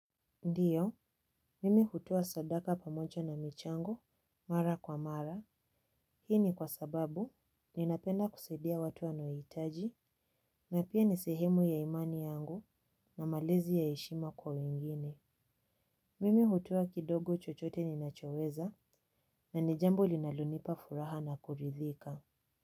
Ndiyo, mimi hutoa sadaka pamocha na michangu, mara kwa mara, hi ni kwa sababu, ninapenda kusedia watu wanoitaji, na pia nisehemu ya imani yangu, na malezi ya eshima kwa wengine. Mimi hutoa kidogo chochote ninachoweza, na ni jambo linalonipa furaha na kuridhika.